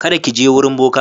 Kada ki je wurin boka.